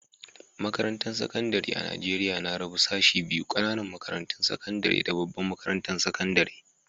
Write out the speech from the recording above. Makarantan sekandari a'Nijeriya na rabu sashi biyu, ƙananan makarantun sakandare da babban makarantan sakandare.